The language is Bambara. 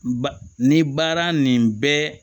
Ba ni baara nin bɛɛ